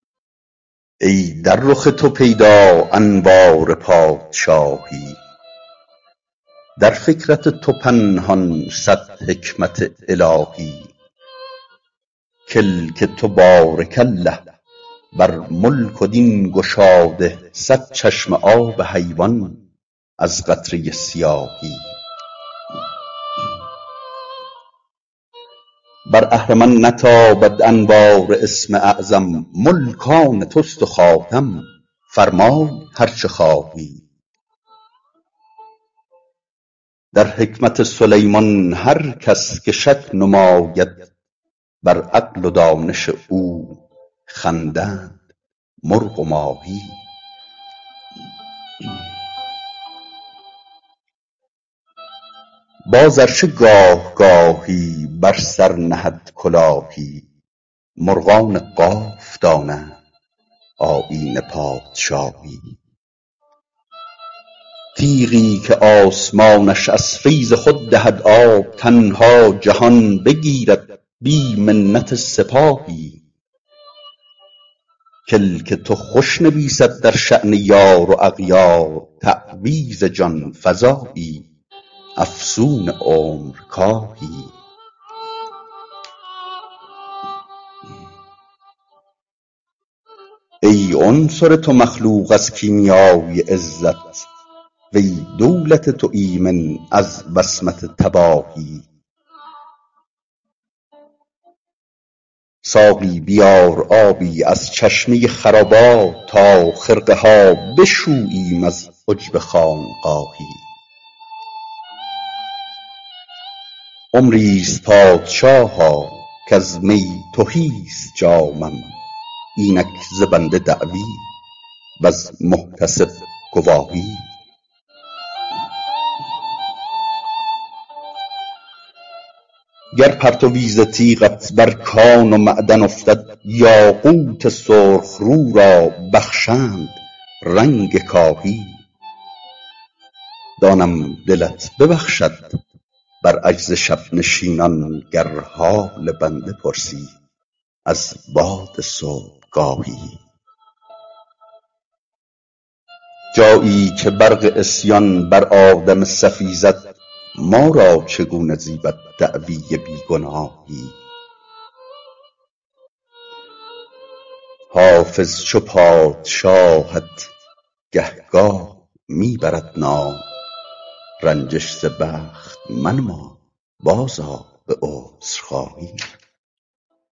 ای در رخ تو پیدا انوار پادشاهی در فکرت تو پنهان صد حکمت الهی کلک تو بارک الله بر ملک و دین گشاده صد چشمه آب حیوان از قطره سیاهی بر اهرمن نتابد انوار اسم اعظم ملک آن توست و خاتم فرمای هر چه خواهی در حکمت سلیمان هر کس که شک نماید بر عقل و دانش او خندند مرغ و ماهی باز ار چه گاه گاهی بر سر نهد کلاهی مرغان قاف دانند آیین پادشاهی تیغی که آسمانش از فیض خود دهد آب تنها جهان بگیرد بی منت سپاهی کلک تو خوش نویسد در شأن یار و اغیار تعویذ جان فزایی افسون عمرکاهی ای عنصر تو مخلوق از کیمیای عزت و ای دولت تو ایمن از وصمت تباهی ساقی بیار آبی از چشمه خرابات تا خرقه ها بشوییم از عجب خانقاهی عمری ست پادشاها کز می تهی ست جامم اینک ز بنده دعوی وز محتسب گواهی گر پرتوی ز تیغت بر کان و معدن افتد یاقوت سرخ رو را بخشند رنگ کاهی دانم دلت ببخشد بر عجز شب نشینان گر حال بنده پرسی از باد صبحگاهی جایی که برق عصیان بر آدم صفی زد ما را چگونه زیبد دعوی بی گناهی حافظ چو پادشاهت گهگاه می برد نام رنجش ز بخت منما بازآ به عذرخواهی